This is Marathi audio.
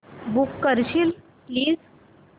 बुक करशील प्लीज